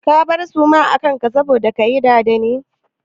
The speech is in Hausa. Ka bar suma a kan ka saboda kayi dada ne?